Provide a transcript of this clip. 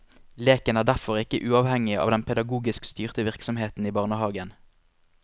Leken er derfor ikke uavhengig av den pedagogisk styrte virksomheten i barnehagen.